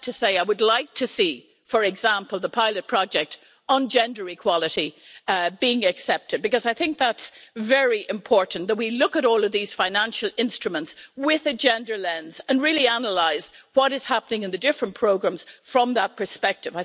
I have to say I would like to see, for example, the pilot project on gender equality being accepted, because I think that's very important that we look at all of these financial instruments with a gender lens and really analyse what is happening in the different programmes from that perspective.